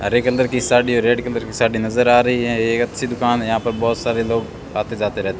हरेक अंदर की साड़ी रेड कलर की साड़ी नजर आ रही है ये एक अच्छी दुकान है यहां पर बहोत सारे लोग आते जाते रहते--